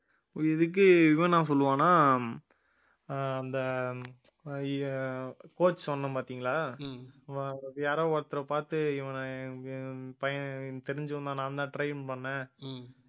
இதுக்கு இவன் என்ன சொல்லுவான்னா ஆஹ் அந்த coach சொன்னேன் பாத்தீங்களா யாரோ ஒருத்தரைப் பாத்து இவனை பையன் தெரிஞ்சு வந்தான் நான்தான் train பண்ணேன்